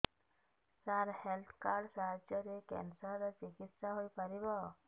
ସାର health card ସାହାଯ୍ୟରେ cancer ର ଚିକିତ୍ସା ହେଇପାରିବ